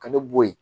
Ka ne bo yen